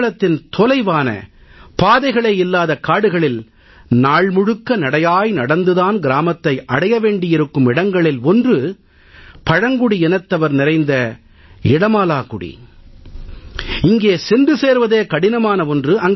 கேரளத்தின் தொலைவான பாதைகளே இல்லாத காடுகளில் நாள் முழுக்க நடையாய் நடந்து தான் கிராமத்தை அடைய வேண்டி இருக்கும் இடங்களில் ஒன்று பழங்குடி இனத்தவர் நிறைந்த இடமாலாகுடி இங்கே சென்று சேர்வதே கடினமான ஒன்று